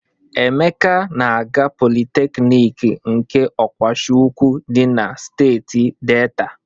Emeka na-aga Politeknik nke Ọgwashiukwu dị na steeti Deeta.